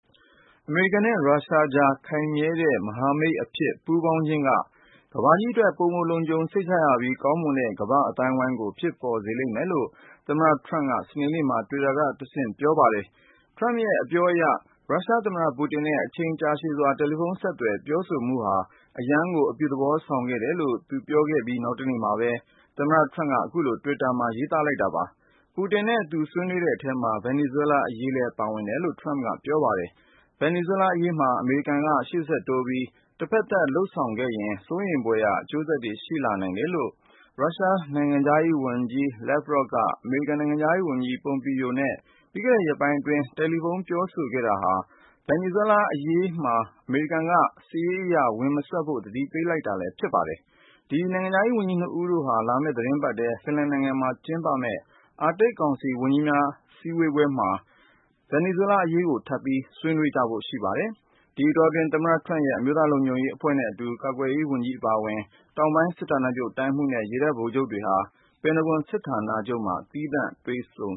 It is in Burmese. အမေရိကန်နဲ့ ရုရှားကြား ခိုင်မြဲတဲ့ မဟာမိတ်အဖြစ် ပူးပေါင်းခြင်းက ကမ္ဘာကြီးအတွက် ပိုမိုလုံခြုံစိတ်ချရပြီး ကောင်းမွန်တဲ့ ကမ္ဘာ့အသိုင်းဝိုင်းကို ဖြစ်ပေါ်စေလိမ့်မယ်လို့ သမ္မတ ထရမ့်က စနေနေ့မှာ တွစ်တာကတဆင့် ပြောဆိုလိုက်ပါတယ်။ ထရမ့်ရဲ့အပြောအရ ရုရှားသမ္မတ-ပူတင်နဲ့ အချိန်ကြာရှည်စွာ တယ်လီဖုန်းဆက်သွယ် ပြောဆိုမှုဟာ အရမ်းကို အပြုသဘောဆောင်ခဲ့တယ်လို့ သူပြောခဲ့ပြီး နောက်တနေ့မှာပဲ သမ္မတထရမ့်က အခုလို တွစ်တာမှာ ရေးသားလိုက်တာပါ။ ပူတင်နဲ့ သူဆွေးနွေးတဲ့အထဲမှာ ဗင်နီဇွဲလားအရေးလည်း ပါဝင်တယ်လို့ ထရမ့်က ပြောပါတယ်။ ဗင်နီဇွဲလားအရေးမှာ အမေရိကန်က ရှေ့ဆက်တိုးပြီး တဘက်သတ် လုပ်ဆောင်ခဲ့ရင် စိုးရိမ်ဖွယ်အကျိုးဆက်တွေ ရှိလာနိုင်တယ်လို့ ရုရှားနိုင်ငံခြားရေးဝန်ကြီး Sergey Lavrov က အမေရိကန်နိုင်ငံခြားရေးဝန်ကြီး Mike Pompeo နဲ့ ပြီးခဲ့တဲ့ ရက်ပိုင်းအတွင်း တယ်လီဖုန်းပြောဆိုခဲ့တာဟာ ဗင်နီဇွဲလားအရေးမှာ အမေရိကန်က စစ်ရေးအရ ဝင်မစွက်ဖို့ သတိပေးလိုက်တာလည်း ဖြစ်ပါတယ်။ ဒီနိုင်ငံခြားရေးဝန်ကြီး ၂ ဦးတို့ဟာ လာမယ့်သီတင်းပတ်ထဲ ဖင်လန်နိုင်ငံမှာ ကျင်းပမယ့် အာတိတ်ကောင်စီ ဝန်ကြီးများအစည်းဝေးမှာလည်း ဗင်နီဇွဲလားအရေးကို ထပ်ပြီး ဆွေးနွေးကြဖို့ ရှိပါတယ်။ ဒီအတောတွင်း သမ္မတထရမ့်ရဲ့ အမျိုးသားလုံခြုံရေးအဖွဲ့နဲ့အတူ ကာကွယ်ရေးဝန်ကြီး အပါအဝင် တောင်ပိုင်း စစ်ဌာနချုပ်တိုင်းမှူးနဲ့ ရေတပ် ဗိုလ်ချုပ်ကြီးတွေဟာ ပင်တဂွန်စာဌာနချုပ်မှာ သောကြာနေ့က သီးသန့်တွေ့ဆုံ